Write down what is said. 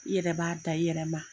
I yɛrɛ b'a da i yɛrɛ ma.